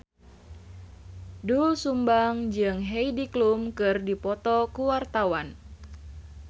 Doel Sumbang jeung Heidi Klum keur dipoto ku wartawan